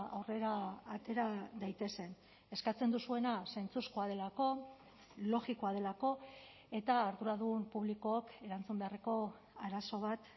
aurrera atera daitezen eskatzen duzuena sentsuzkoa delako logikoa delako eta arduradun publikok erantzun beharreko arazo bat